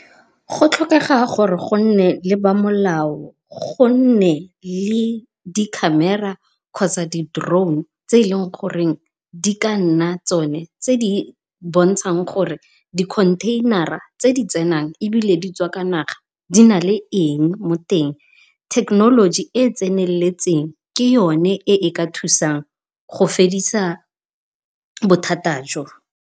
Go tlhokega gore go nne le ba molao, go nne le di-camera kgotsa di-drone tse e le goreng e ka nna tsone tse di bontshang gore dikhontheinara tse di tsenang ebile di tswa ka naga di na le eng mo teng. Thekenoloji e e tseneletseng ke yone e e ka thusang go fedisa bothata jo.